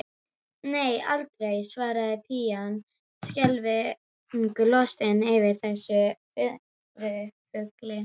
Nei, aldrei, svarar pían skelfingu lostin yfir þessum furðufugli.